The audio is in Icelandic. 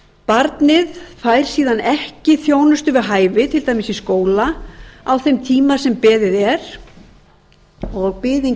barnið fær síðan ekki þjónustu við hæfi til dæmis í skóla á þeim tíma sem beðið er og biðin